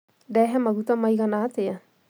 Ndeehe maguta maigana atĩa?